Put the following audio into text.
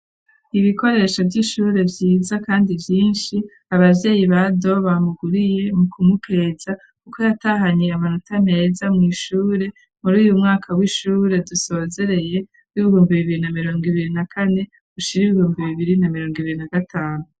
Ibikoresho vy'ishuri vyiza kandi vyinshi .Abavyeyi ba Do bamuguriye mu kumupeza kuko yatahanye amanota meza mu ishure muri uyu mwaka w'ishure dusozereye b'ibihumbi bibiri na mirongo ibiri na kandi ushira ibihumbi bibiri na mirongo ibiri na gatanu.